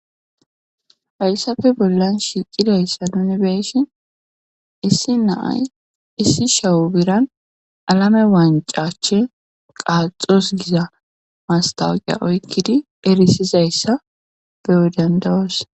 faylsafe bollan shiicidayssa nuni beeshin issi naay issi shawu biran alame waancache qaaxos giza mastawaqa oykkidi erisizayssa beudandawos